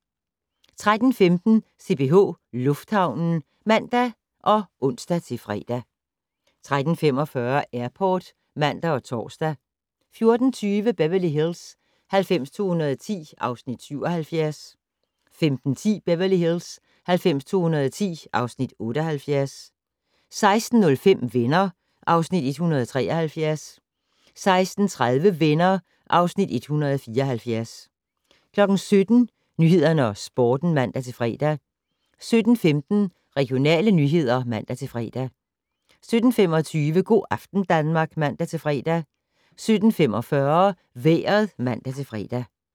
13:15: CPH Lufthavnen (man og ons-fre) 13:45: Airport (man og tor) 14:20: Beverly Hills 90210 (Afs. 77) 15:10: Beverly Hills 90210 (Afs. 78) 16:05: Venner (Afs. 173) 16:30: Venner (Afs. 174) 17:00: Nyhederne og Sporten (man-fre) 17:15: Regionale nyheder (man-fre) 17:25: Go' aften Danmark (man-fre) 17:45: Vejret (man-fre)